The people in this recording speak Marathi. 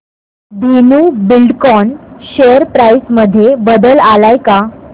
धेनु बिल्डकॉन शेअर प्राइस मध्ये बदल आलाय का